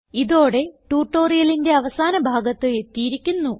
ഇതോടെ ട്യൂട്ടോറിയലിന്റെ അവസാന ഭാഗത്ത് എത്തിയിരിക്കുന്നു